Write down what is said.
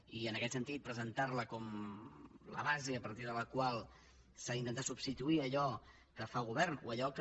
i en aquest sentit presentar la com la base a partir de la qual s’ha d’intentar substituir allò que fa el govern o allò que